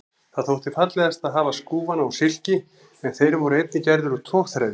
Það þótti fallegast að hafa skúfana úr silki en þeir voru einnig gerðir úr togþræði.